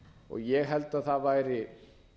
ég held að það væri